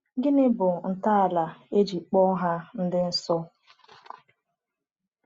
Gịnị bụ ntọala e ji kpọọ ha ndị nsọ?